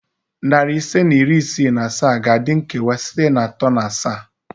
Nari ise na iri isii na asaa ga-adị nkewa site atọ na asaa